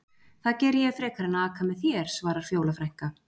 Það geri ég frekar en að aka með þér, svarar Fjóla frænka.